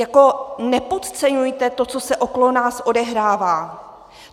Jako nepodceňujte to, co se okolo nás odehrává!